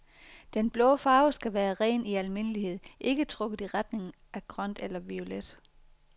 Den blå farve skal være ren i almindelighed ikke trukket i retning af grøn eller violet.